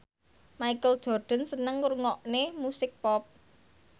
Michael Jordan seneng ngrungokne musik pop